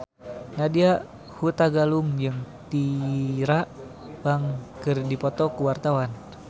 Nadya Hutagalung jeung Tyra Banks keur dipoto ku wartawan